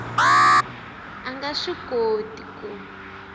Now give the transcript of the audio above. a nga swi koti ku